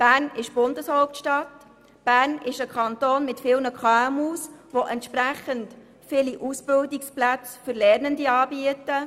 Bern ist die Bundeshauptstadt, und Bern ist ein Kanton mit vielen KMU, der entsprechend viele Ausbildungsplätze für Lernende anbietet.